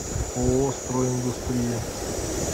ооо стройиндустрия